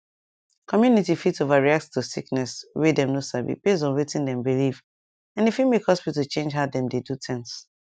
community fit overreact to sickness wey dem no sabi based on wetin dem believe and e fit make hospital change how dem dey do things